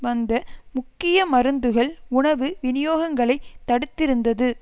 வந்த முக்கிய மருந்துகள் உணவு விநியோகங்களை தடுத்திருந்தது